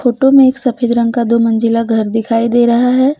Photo में एक सफेद रंग का दो मंजिला घर दिखाई दे रहा है।